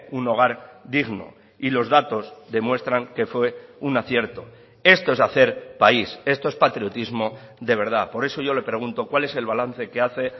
un hogar digno y los datos demuestran que fue un acierto esto es hacer país esto es patriotismo de verdad por eso yo le pregunto cuál es el balance que hace